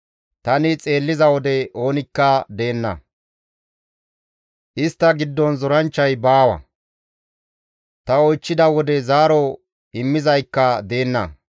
Tani xeelliza wode oonikka deenna; istta giddon zoranchchay baawa; ta oychchida wode zaaro immizaykka deenna.